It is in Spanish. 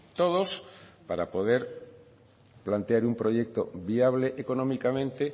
todos para poder plantear un proyecto viable económicamente